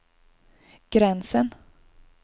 gränsen